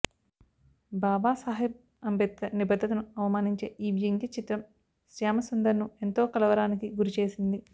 బాబా సాహెబ్ అంబేద్కర్ నిబద్ధతను అవమానించే ఈ వ్యంగ్య చిత్రం శ్యామసుందర్ను ఎంతో కలవరానికి గురిచేసింది